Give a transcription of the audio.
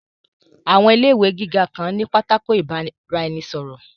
Àwọn ilé ìwé gíga kan ní pátákó ìbára-ẹni-sọ̀rọ̀